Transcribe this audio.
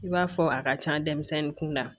I b'a fɔ a ka ca denmisɛnnin kun na